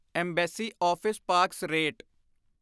embassy office parks rate